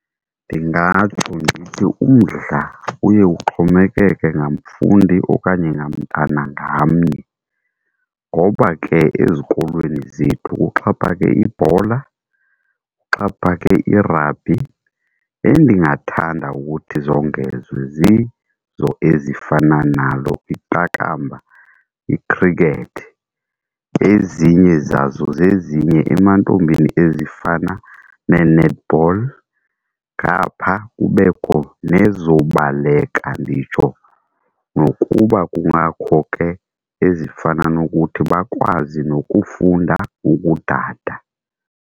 Ndingatsho ndithi umdla uye uxhomekeke ngamfundi okanye ngamntana ngamnye, ngoba ke ezikolweni zethu kuxhaphake ibhola, kuxhaphake irabhi. Endingathanda ukuthi zongezwe zizo ezifana nalo iqakamba, ikhrikethi. Ezinye zazo zezinye emantombini ezifana nee-netball ngapha kubekho nezobaleka, nditsho nokuba kungakho ke ezifana nokuthi bakwazi nokufunda ukudada.